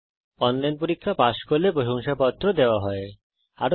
যারা অনলাইন পরীক্ষা পাস করে তাদের প্রশংসাপত্র সার্টিফিকেট ও দেওয়া হয়